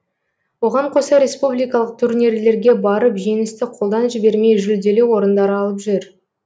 оған қоса республикалық турнирлерге барып жеңісті қолдан жібермей жүлделі орындар алып жүр